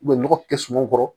nɔgɔ tɛ sumanw kɔrɔ